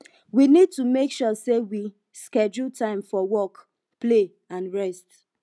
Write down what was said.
we need to make sure sey we schedule time for work play and rest